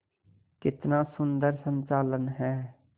कितना सुंदर संचालन है